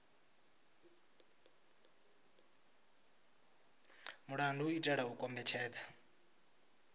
mulandu u itela u kombetshedza